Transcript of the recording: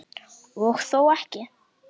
Og þó ekki.